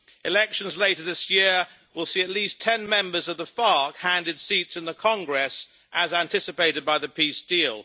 Elections later this year will see at least ten members of the FARC handed seats in the Congress, as anticipated by the peace deal.